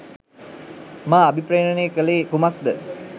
මා අභිප්‍රේරණය කළේ කුමක්ද